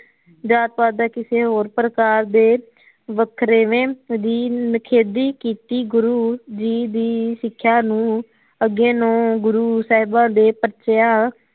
ਜਾਤ ਪਾਤ ਦਾ ਕਿਸੇ ਹੋਰ ਪ੍ਰਕਾਰ ਦੇ ਵੱਖਰੇਵੇ ਦੀ ਨਿਖੇਦੀ ਕੀਤੀ ਗੁਰੂ ਜੀ ਦੀ ਸਿਖਿਆ ਨੂੰ ਅੱਗੇ ਨੌ ਗੁਰੂ ਸਾਹਿਬਾ ਦੇ ਪ੍ਰਚਯਾ